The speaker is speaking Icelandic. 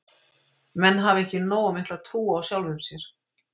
Menn hafa ekki nógu mikla trú á sjálfum sér.